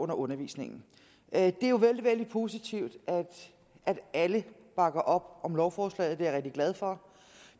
under undervisningen det er jo vældig vældig positivt at alle bakker op om lovforslaget jeg rigtig glad for